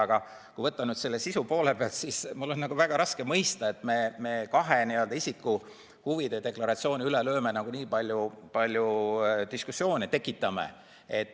Aga kui võtta sisu poole pealt, siis mul on väga raske mõista, et miks me kahe isiku huvide deklaratsiooni teemal tekitame nii palju diskussiooni.